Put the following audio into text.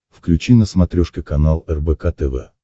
включи на смотрешке канал рбк тв